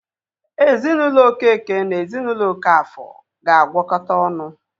Ezinaụlọ Okeke na ezinaụlọ Okafor ga-agwọkota ọnụ